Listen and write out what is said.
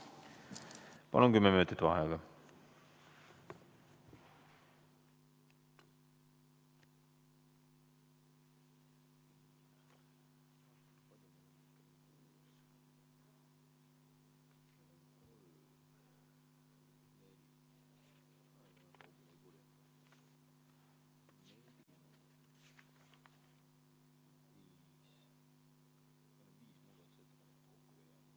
Palun, kümme minutit vaheaega!